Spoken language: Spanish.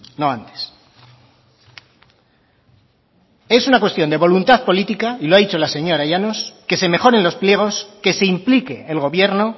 no antes es una cuestión de voluntad política y lo ha dicho la señora llanos que se mejoren los pliegos que se implique el gobierno